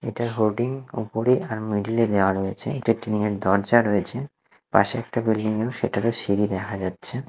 এটার হোর্ডিং ওপরে আর মিডিল -এ দেওয়া রয়েছে একটা টিনের দরজা রয়েছে পাশে একটা বিল্ডিং -এরও সেটারও সিঁড়ি দেখা যাচ্ছে।